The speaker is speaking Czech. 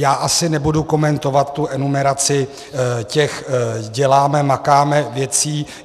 Já asi nebudu komentovat tu enumeraci těch děláme-makáme věcí.